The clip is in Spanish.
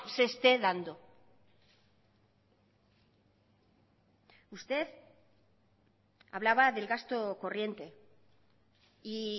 se esté dando usted hablaba del gasto corriente y